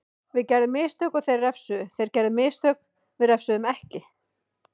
Við gerðum mistök og þeir refsuðu, þeir gerðu mistök við refsuðum ekki.